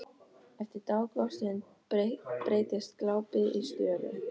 Eftir dágóða stund breytist glápið í störu.